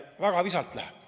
Väga visalt läheb.